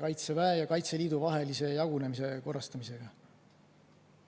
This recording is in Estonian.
Kaitseväe ja Kaitseliidu vahelise jagunemise korrastamisega.